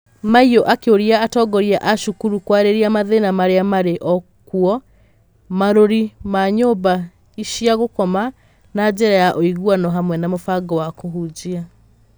Maiyo akĩũria atongoria a cukuru kwarĩrĩria mathĩna marĩa marĩ kuo marũri na nyũmba cia gũkoma na njĩra ya ũiguano hamwe na mũbango wa kũhunjia.